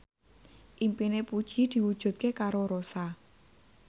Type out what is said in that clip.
impine Puji diwujudke karo Rossa